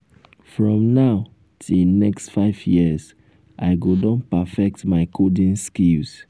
from now till next five years i go don perfect my coding skills.